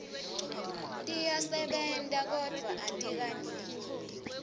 tiyasebenta kodvwa atikaneli